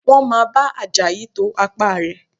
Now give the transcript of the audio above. Wọ́n máa bá Àjàyí to apá rẹ̀